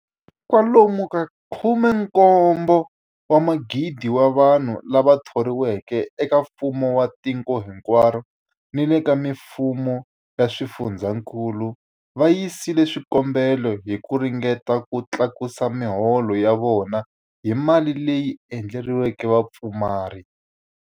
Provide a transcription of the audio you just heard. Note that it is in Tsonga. Kwa lomu ka 17,000 wa vanhu lava thoriweke eka mfumo wa tiko hinkwaro ni le ka mifumo ya swifundzankulu va yisile swikombelo hi ku ringeta ku tlakusa miholo ya vona hi mali leyi endleriweke vapfumari.